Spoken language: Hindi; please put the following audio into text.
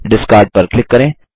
डिस्कार्ड पर क्लिक करें